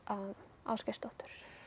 Ásgeirsdóttur